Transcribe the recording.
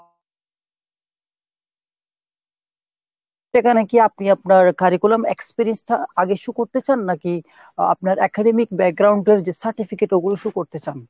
সেখানে কি আপনি আপনার curriculum experience টা আগে shoe করতে চান নাকি আহ আপনার academic এর যে certificate ওগুলো show করতে চান।